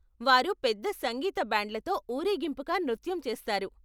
వారు పెద్ద సంగీత బ్యాండ్లతో ఊరేగింపుగా నృత్యం చేస్తారు.